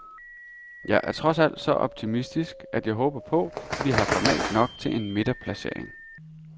Jeg er trods alt så optimistisk, at jeg håber på, vi har format nok til en midterplacering.